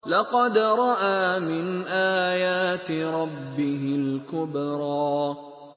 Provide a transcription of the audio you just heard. لَقَدْ رَأَىٰ مِنْ آيَاتِ رَبِّهِ الْكُبْرَىٰ